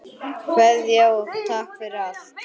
Kveðja og takk fyrir allt.